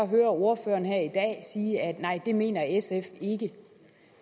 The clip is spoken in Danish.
hører ordføreren her i dag sige at det mener sf ikke